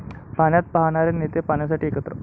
पाण्यात पाहणारे नेते पाण्यासाठी एकत्र!